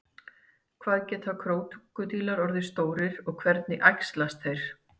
Hvað geta krókódílar orðið stórir og hvernig æxlast þeir?